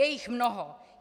Je jich mnoho.